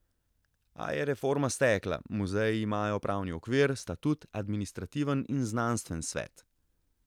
A je reforma stekla, muzeji imajo pravni okvir, statut, administrativen in znanstven svet.